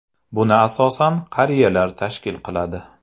Buni asosan qariyalar tashkil qiladi.